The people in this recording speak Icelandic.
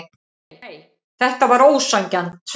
Nei, þetta var ósanngjarnt.